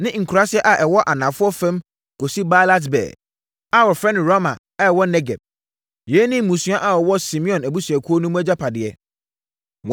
ne nkuraaseɛ a ɛwɔ anafoɔ fam kɔsi Baalat-Beer (a wɔfrɛ no Rama a ɛwɔ Negeb). Yei ne mmusua a wɔwɔ Simeon abusuakuo mu no agyapadeɛ.